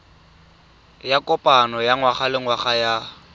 ya kopano ya ngwagalengwaga ya